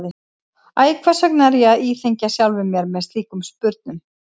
Æ, hvers vegna er ég að íþyngja sjálfum mér með slíkum spurnum?